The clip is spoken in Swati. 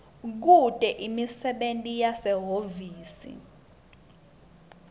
bekute imisebenti yasehhovisi